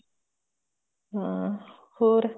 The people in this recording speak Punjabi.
ਹਮ ਹੋਰ